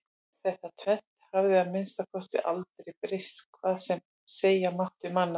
Þetta tvennt hafði að minnsta kosti aldrei breyst hvað sem segja mátti um annað.